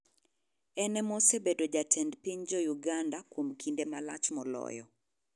En ema osebedo jatend piny jouganda kuom kinde malach moloyo.